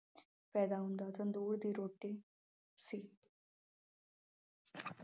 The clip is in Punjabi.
ਪੈਦਾ ਹੁੰਦਾ ਹੈ, ਤੰਦੂਰ ਦੀ ਰੋਟੀ ਸੀ।